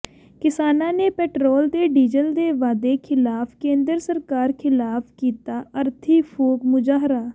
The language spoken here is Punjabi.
ਕਿਸਾਨਾਂ ਨੇ ਪੈਟਰੋਲ ਤੇ ਡੀਜ਼ਲ ਦੇ ਵਾਧੇ ਖ਼ਿਲਾਫ਼ ਕੇਂਦਰ ਸਰਕਾਰ ਖ਼ਿਲਾਫ਼ ਕੀਤਾ ਅਰਥੀ ਫੂਕ ਮੁਜਾਹਰਾ